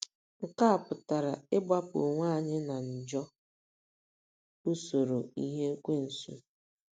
Nke a pụtara ịgbapụ onwe anyị n'ajọ usoro ihe Ekwensu.